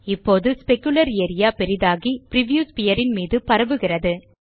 இப்போது specular area பெரிதாகி preview sphere ன் மீது பரவுகிறது